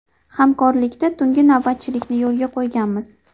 Hamkorlikda tungi navbatchilikni yo‘lga qo‘yganmiz.